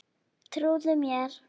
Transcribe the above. Trúðu mér.